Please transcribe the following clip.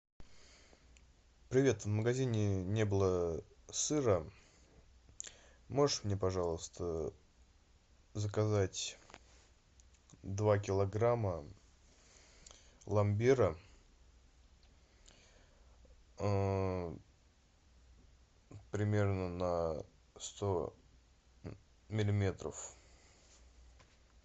привет в магазин не было сыра можешь мне пожалуйста заказать два килограмма пломбира примерно на сто миллиметров